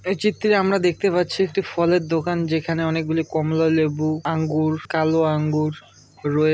এই চিত্রে আমরা দেখতে পাচ্ছি একটি ফলের দোকান যেখানে অনেকগুলি কমলা লেবু আঙ্গুর কালো আঙ্গুর রয়ে--